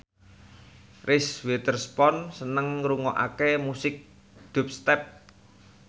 Reese Witherspoon seneng ngrungokne musik dubstep